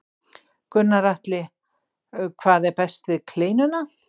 Gunnar Atli: Hvað er best við kleinuna?